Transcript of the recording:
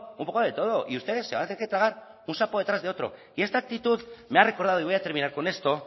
un poco de todo y ustedes se van a tener que un sapo detrás de otro y esta actitud me ha recordado y voy a terminar con esto